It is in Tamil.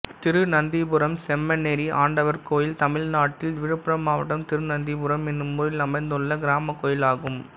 திருநந்திபுரம் செம்மனேரி ஆண்டவர் கோயில் தமிழ்நாட்டில் விழுப்புரம் மாவட்டம் திருநந்திபுரம் என்னும் ஊரில் அமைந்துள்ள கிராமக் கோயிலாகும்